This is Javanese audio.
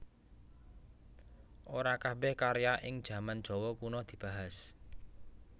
Ora kabèh karya ing jaman Jawa Kuna dibahas